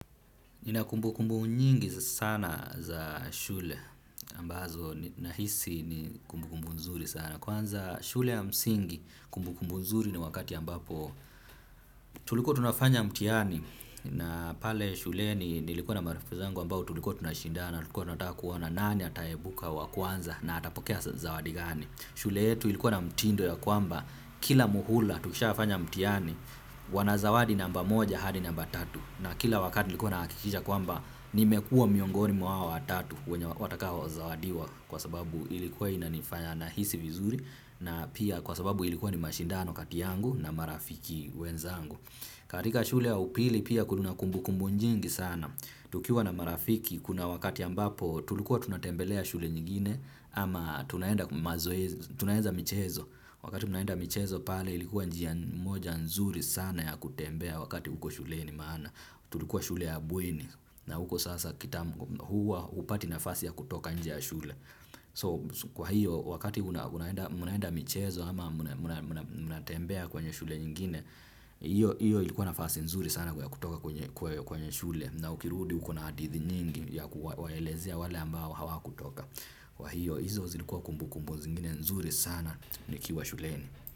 Ninakumbu kumbu nyingi sana za shule ambazo na hisi ni kumbu kumbu nzuri sana. Kwanza shule ya msingi kumbu kumbu nzuri ni wakati ambapo tulikuwa tunafanya mtihani na pale shule nilikuwa na marafiki zangu ambao tulikuwa tunashindana na tulikuwa tunata kuona nani ataebuka wa kwanza na atapokea zawadi gani. Shule yetu ilikuwa na mtindo ya kwamba kila muhula tukishafanya mtihani wanazawadi namba moja hadi namba tatu na kila wakati ilikuwa na hakikija kwamba nimekua miongoni mwa wa hao tatu wenye watakao zawadiwa kwa sababu ilikuwa ina nifanya na hisi vizuri na pia kwa sababu ilikuwa ni mashindano kati yangu na marafiki wenzangu. Katika shule ya upili pia kuna kumbu kumbu nyingi sana, tukiwa na marafiki kuna wakati ambapo tulikuwa tunatembelea shule nyingine ama tunaenda mazoezi tunaenda michezo, wakati mnaenda michezo pale ilikuwa njia moja nzuri sana ya kutembea wakati huko shule maana, tulikuwa shule ya bweni huko sasa huwa upati nafasi ya kutoka nje shule. So kwa hiyo wakati munaenda michezo ama munatembea kwenye shule ingine. Iyo ilikuwa nafasi nzuri sana ya kutoka kwenye shule na ukirudi ukona hadithi nyingi ya kuwaelezea wale ambao hawa kutoka. Kwa hiyo hizo zilikuwa kumbu kumbu zingine nzuri sana ni kiwa shuleni.